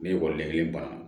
Ne ye ekɔliden baara